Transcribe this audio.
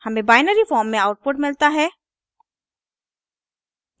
हमें binary form में output मिलता है